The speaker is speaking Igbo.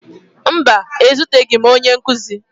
Mba, ezuteghi m onye nkụzi